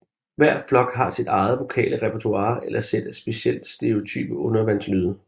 Hver flok har sit eget vokale repertoire eller sæt af specielt stereotype undervandslyde